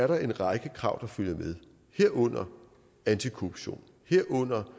der en række krav der fulgte med herunder antikorruption herunder